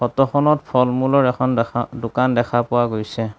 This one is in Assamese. ফটোখনত ফল-মূলৰ এখন দেখন দোকান দেখা পোৱা গৈছে।